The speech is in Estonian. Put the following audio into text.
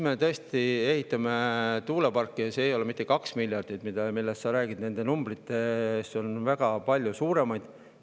Me tõesti ehitame tuuleparke, ja selleks ei ole mitte 2 miljardit, nagu sa rääkisid, vaid on väga palju suuremad numbrid.